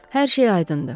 Hər şey aydındır.